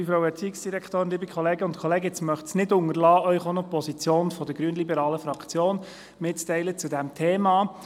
Ich möchte es nicht unterlassen, Ihnen auch noch die Position der grünliberalen Fraktion zu diesem Thema mitzuteilen.